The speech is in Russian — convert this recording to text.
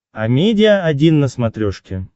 амедиа один на смотрешке